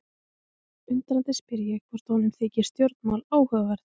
Undrandi spyr ég hvort honum þyki stjórnmál áhugaverð.